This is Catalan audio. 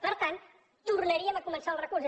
per tant tornaríem a començar el recurs